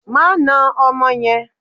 Má na ọmọ yẹn!